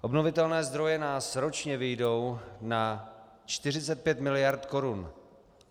Obnovitelné zdroje nás ročně vyjdou na 45 mld. korun.